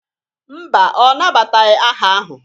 Mba, ọ nabataghị aha ahụ.